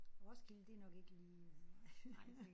Roskilde det er nok ikke lige øh